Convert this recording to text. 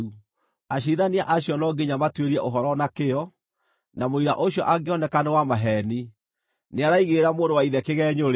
Aciirithania acio no nginya matuĩrie ũhoro na kĩyo, na mũira ũcio angĩoneka nĩ wa maheeni, nĩaraigĩrĩra mũrũ wa ithe kĩgeenyo-rĩ,